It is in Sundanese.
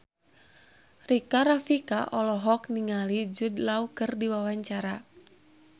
Rika Rafika olohok ningali Jude Law keur diwawancara